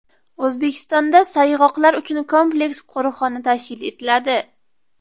O‘zbekistonda sayg‘oqlar uchun kompleks qo‘riqxona tashkil etiladi.